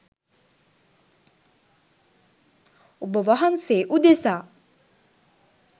ඔබවහන්සේ උදෙසා